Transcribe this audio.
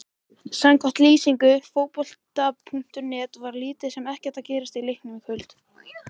Samkvæmt lýsingu Fótbolta.net var lítið sem ekkert að gerast í leiknum í kvöld.